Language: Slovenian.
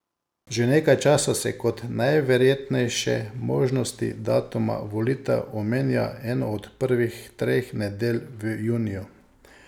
Že nekaj časa se kot najverjetnejše možnosti datuma volitev omenja eno od prvih treh nedelj v juniju.